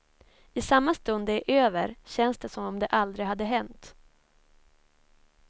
I samma stund det är över, känns det som om det aldrig hade hänt.